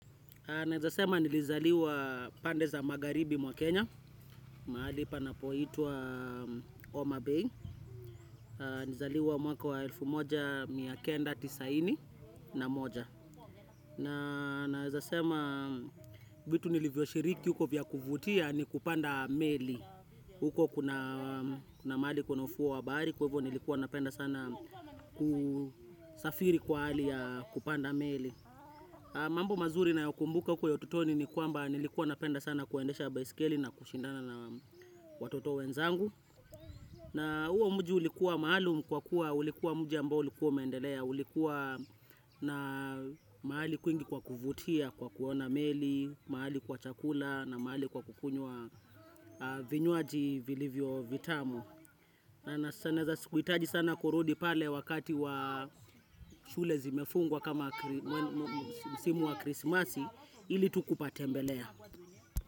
Ninaeza sema nilizaliwa pande za magharibi mwa Kenya, mahali panapo itwa homa Bay. Nizaliwa mwaka wa elfu moja, miakenda, tisaini na moja. Na naezasema, vitu nilivyoshiriki huko vya kuvutia ni kupanda meli. Huko kuna mahali kuna ufuo wa bahari, kwa hivyo nilikuwa napenda sana kusafiri kwa hali ya kupanda meli. Mambo mazuri nayakumbuka huko ya utotoni ni kwamba nilikuwa napenda sana kuendesha baisikeli na kushindana na watoto wenzangu. Na uo mji ulikuwa maaalum kwa kuwa ulikuwa muji ambao ulikuwa umendelea. Ulikuwa na mahali kwingi kwa kuvutia, kwa kuona meli, mahali kwa chakula na mahali kwa kukunywa vinywaji vilivyo vitamo. Na sana za sikuitaji sana kurudi pale wakati wa shule zimefungwa kama msimu wa krismasi ili tu kupatembelea.